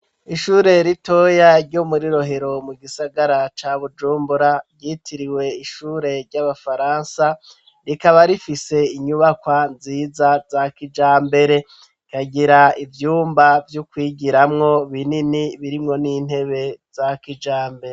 Ishure ritoya ryo muri Rohero, mu gisagara ca Bujumbura, ryitiriwe ishure ry'abafaransa, rikaba rifise inyubakwa nziza za kijambere, rikagira ivyumba vyo kwigiramwo binini birimwo n'intebe za kijambere.